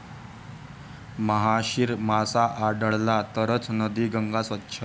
महाशीर मासा आढळला तरचं नदी गंगा स्वच्छ!